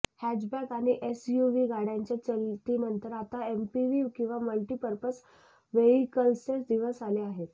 hatchback आणि SUV गाडय़ांच्या चलतीनंतर आता एमपीव्ही किंवा मल्टी पर्पज व्हेइकल्सचे दिवस आले आहेत